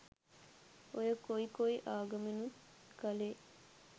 ඔය කොයි කොයි ආගමෙනුත් කලේ